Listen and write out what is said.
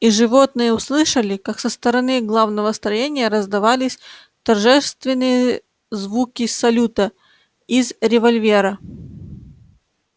и животные услышали как со стороны главного строения раздавались торжественные звуки салюта из револьвера